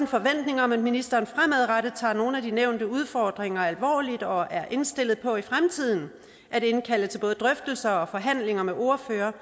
forventning om at ministeren fremadrettet tager nogle af de nævnte udfordringer alvorligt og er indstillet på i fremtiden at indkalde til både drøftelser og forhandlinger med ordførerne